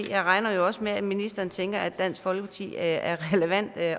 jeg regner også med at ministeren tænker at dansk folkeparti er relevante at